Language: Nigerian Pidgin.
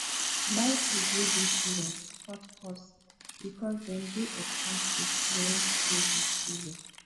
buy food wey dey season to cut cost because dem dey expensive when no be season